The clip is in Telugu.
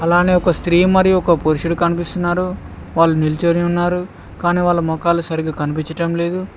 అలానే ఒక స్త్రీ మరియు ఒక పురుషుడు కనిపిస్తున్నారు వాళ్ళు నిల్చొని ఉన్నారు కానీ వాళ్ళ మోఖాలు సరిగా కనిపించడం లేదు.